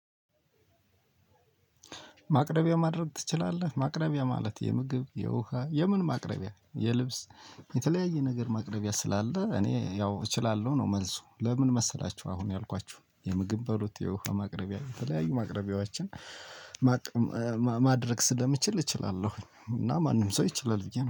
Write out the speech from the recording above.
ማቅረቢያ ማድረግ ትችላለህ? ማቅረቢያ ማለት የምግብ የውሃ የምን ማቅረቢያ? የልብስ የተለያየ ነገር ማቅረቢያ ስላለ እኔ ያው እችላለሁ ነው መልሱ ለምን መሰላችሁ አሁን ያልኳችሁ የምግብ በሉት የውሃ ማቅረቢያ የተለያዩ ማቅረቢያዎችን ማድረግ ስለምችል እችላለሁ። እና ማንም ሰው ይችላል ብዬ ነው።